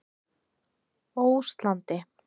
Óslandi